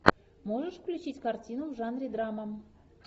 можешь включить картину в жанре драма